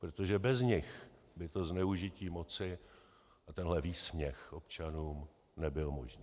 Protože bez nich by to zneužití moci a tenhle výsměch občanům nebyly možné.